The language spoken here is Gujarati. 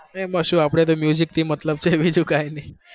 એમાં શું આપણે તો થી મતલબ છે, બીજું કઈ નહિ.